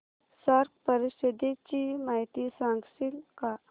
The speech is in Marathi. सार्क परिषदेची माहिती सांगशील का